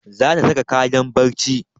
Za ta saka kayan barci